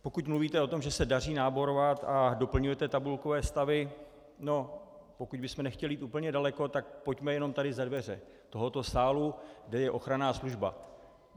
Pokud mluvíte o tom, že se daří náborovat a doplňujete tabulkové stavy, no pokud bychom nechtěli jít úplně daleko, tak pojďme jenom tady za dveře tohoto sálu, kde je ochranná služba.